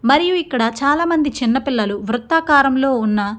మరియు ఇక్కడ చాలా మంది చిన్న పిల్లలు వృత్తాకారం లో ఉన్న --